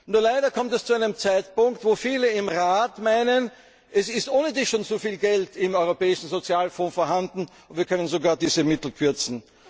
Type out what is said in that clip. das. Nur leider kommt es zu einem Zeitpunkt, wo viele im Rat meinen, es ist ohnedies schon zu viel Geld im Europäischen Sozialfonds vorhanden, und wir können sogar diese Mittel kürzen.